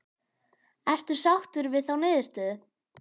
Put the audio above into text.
Ertu sáttur við þá niðurstöðu?